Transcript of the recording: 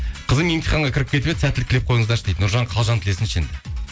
қызым емтиханға кіріп кетіп еді сәттілік тілеп қойыңыздаршы дейді нұржан қалжан тілесінші енді